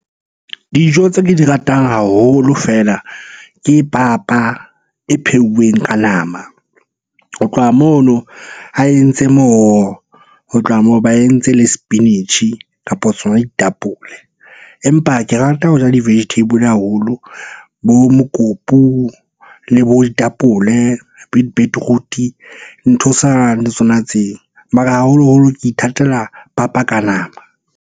Dijo tse ke di ratang haholo feela ke papa e pheuweng ka nama. Ho tloha mono a entse moro, ho tloha moo ba entse le sepinatjhi kapa tsona ditapole. Empa ke rata ho ja di-vegetable haholo, bo mokopu, le bo ditapole, beetroot-e. Ntho le tsona tseo. Mara haholoholo ke ithatela papa ka nama.